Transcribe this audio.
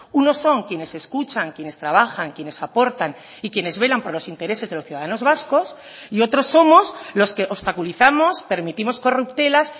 unos son quienes escuchan quienes trabajan quienes aportan y quienes velan por los intereses de los ciudadanos vascos y otros somos los que obstaculizamos permitimos corruptelas